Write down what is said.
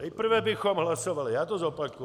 Nejprve bychom hlasovali - já to zopakuji.